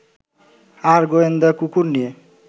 আর গোয়েন্দা কুকুর নিয়ে